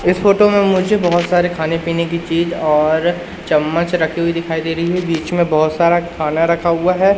इस फोटो में मुझे बहोत सारे खाने पीने की चीज और चम्मच रखी हुई दिखाई दे रही है बीच में बहोत सारा खाना रखा हुआ है।